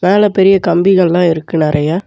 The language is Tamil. மேல பெரிய கம்பிகள்லா இருக்கு நெறைய.